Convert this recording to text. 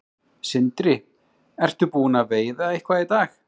Sindri: Ertu búinn að veiða eitthvað í dag?